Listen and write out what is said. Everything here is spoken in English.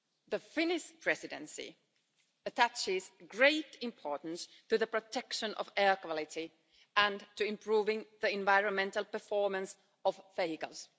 The Finnish Presidency attaches great importance to the protection of air quality and to improving the environmental performance of vehicles.